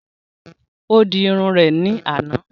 Ó di Irun rè ní àná